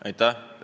Aitäh!